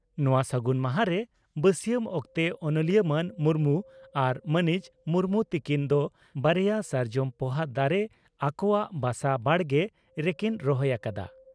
ᱱᱚᱣᱟ ᱥᱟᱹᱜᱩᱱ ᱢᱟᱦᱟᱸᱨᱮ ᱵᱟᱹᱥᱤᱭᱟᱢ ᱚᱠᱛᱮ ᱚᱱᱚᱞᱤᱭᱟᱹ ᱢᱟᱱ ᱢᱩᱨᱢᱩ ᱟᱨ ᱢᱟᱹᱱᱤᱡ ᱢᱩᱨᱢᱩ ᱛᱤᱠᱤᱱ ᱫᱚ ᱵᱟᱨᱮᱭᱟ ᱥᱟᱨᱡᱚᱢ ᱯᱚᱦᱟ ᱫᱟᱨᱮ ᱟᱠᱚᱣᱟᱜ ᱵᱟᱥᱟ ᱵᱟᱲᱜᱮ ᱨᱮᱠᱤᱱ ᱨᱚᱦᱚᱭ ᱟᱠᱟᱫᱼᱟ ᱾